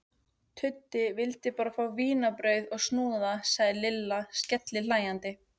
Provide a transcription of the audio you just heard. Tuddi vildi bara fá vínarbrauð og snúða sagði Lilla skellihlæjandi.